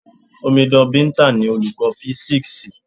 Omidan Binta ni Olùkọ́ físíksì.